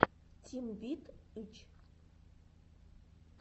тим вит ы ч